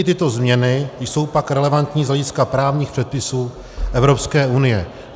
I tyto změny jsou pak relevantní z hlediska právních předpisů Evropské unie.